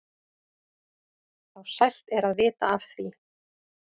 þá sælt er að vita af því.